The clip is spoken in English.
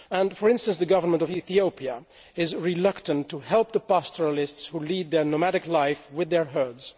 For instance, the government of Ethiopia is reluctant to help the pastoralists who lead their nomadic life with their herds.